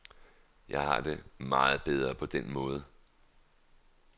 Jeg har det meget bedre på den måde.